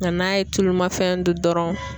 Nka n'a ye tulumafɛn dun dɔrɔn.